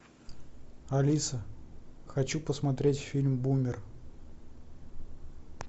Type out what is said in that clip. алиса хочу посмотреть фильм бумер